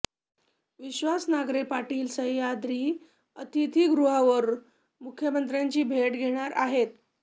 विश्वास नांगरे पाटील सह्याद्री अतिथिगृहावर मुख्यमंत्र्यांची भेट घेणार आहेत